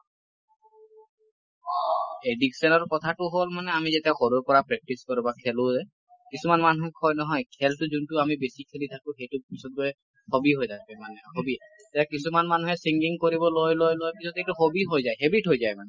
addiction ৰ কথাটো হল মানে আমি যেতিয়া সৰুৰ পৰা practice কৰোঁ বা খেলো ও কিছুমান মানুহে কয় নহয় খেলটো যোন টো আমি বেছি খেলি থাকো সেইটো পিছত গৈ hobby হৈ থাকে মানে hobby । এতিয়া কিছুমান মানুহে singing কৰিব লয় লয় লয় পিছত এইটো hobby হৈ যায় habit হৈ যায় মানে ।